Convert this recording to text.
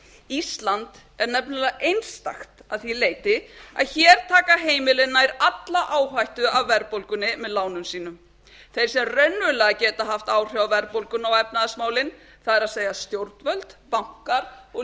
ísland er nefnilega einstakt að því leyti að hér taka heimilin nær alla áhættu af verðbólgunni með lánum sínum þeir sem raunverulega geta haft áhrif á verðbólguna og efnahagsmálin það er stjórnvöld bankar og